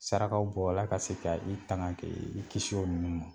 Sarakaw b'ɔ la ka se ka i taŋa kɛ i kis'olu ma.